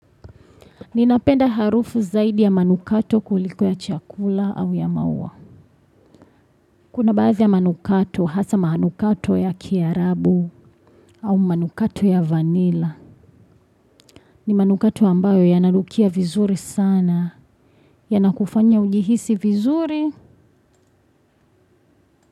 Ninapenda harufu zaidi ya manukato kuliko ya chakula au ya maua. Kuna baadhi ya manukato, hasa manukato ya kiarabu au manukato ya vanila. Ni manukato ambayo yananukia vizuri sana. Yanakufanya ujihisi vizuri.